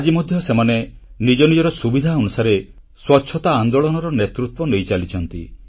ଆଜି ମଧ୍ୟ ସେମାନେ ନିଜ ନିଜର ସୁବିଧା ଅନୁସାରେ ସ୍ୱଚ୍ଛତା ଆନ୍ଦୋଳନର ନେତୃତ୍ୱ ନେଇଚାଲିଛନ୍ତି